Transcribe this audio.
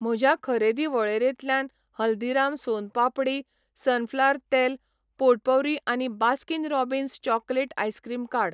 म्हज्या खरेदी वळेरेंतल्यान हल्दीराम सोन पापडी, सनफ्लॉवर तेल पोटपौरी आनी बास्किन रॉबिन्स चॉकलेट आइसक्रीम काड.